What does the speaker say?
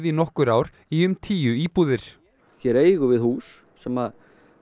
nokkur ár í tíu íbúðir hér eigum við hús sem